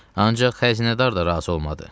Ancaq xəzinədar da razı olmadı.